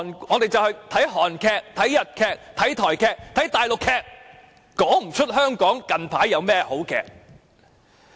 我們現在看的是韓劇、日劇、台劇、大陸劇，但卻說不出香港近來有甚麼好劇集。